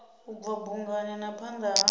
bva bungani na phanda ha